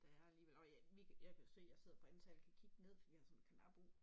Der er alligevel og ja vi jeg kan jo se jeg sidder på anden sal og kan kigge ned for vi har sådan en karnap ud